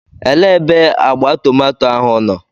Elee ebe agba tomato ahụ nọ?